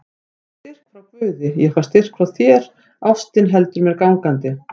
Ég fæ styrk frá guði, ég fæ styrk frá þér, ástin heldur mér gangandi.